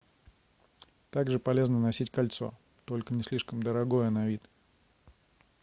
также полезно носить кольцо только не слишком дорогое на вид